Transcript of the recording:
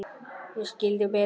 Ég skildi Betu.